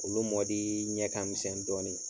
Olu mɔdi ɲɛ kamisɛn dɔɔni.